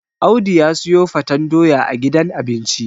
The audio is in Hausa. Audu ya siyo faten doya a gidan abinci